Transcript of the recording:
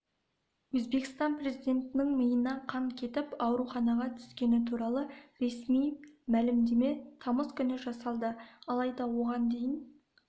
өзбекстан президентінің миына қан кетіп ауруханаға түскені туралы ресми мәлімдеме тамыз күні жасалды алайда оған дейін